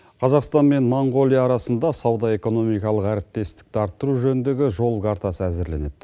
қазақстан мен монғолия арасында сауда экономикалық әріптестікті арттыру жөніндегі жол картасы әзірленеді